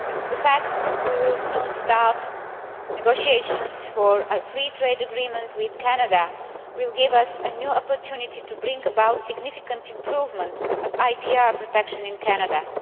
The fact we will soon start negotiations for a free trade agreement with Canada will give us a new opportunity to bring about significant improvement of IPR protection in Canada.